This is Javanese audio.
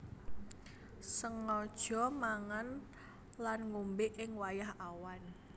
Sengaja mangan lan ngombé ing wayah awan